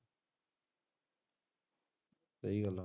ਸਹੀ ਗੱਲ ਹੈ।